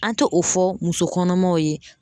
An te o fɔ muso kɔnɔmaw ye